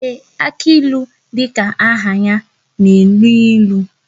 Ee, aka ilu dịka aha ya na enu ilu